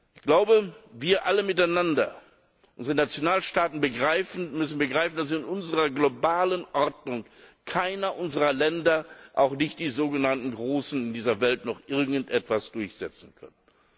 Ich glaube, wir alle miteinander, unsere Nationalstaaten müssen begreifen, dass in unserer globalen Ordnung keines unserer Länder, auch nicht die sogenannten Großen dieser Welt, noch irgendetwas durchsetzen können.